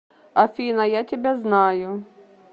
афина я тебя знаю